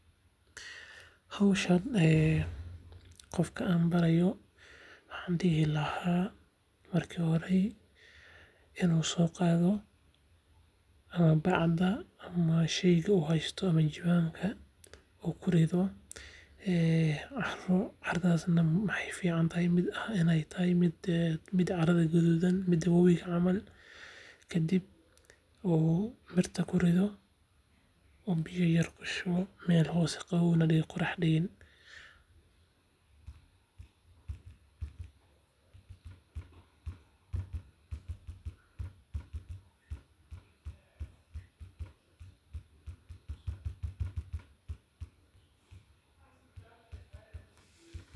Howshan qofka aan baraayo waxaan dihi lahaa marka hore inuu soo qaado ama bacda uu kurido carada aay ahaato mid gaduudan uu mirta kurido.